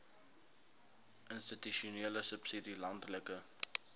institusionele subsidie landelike